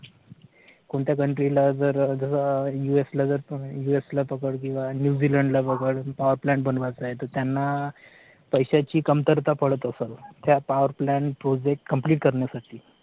कोणत्या country ला